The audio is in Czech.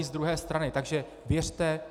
I z druhé strany, takže věřte.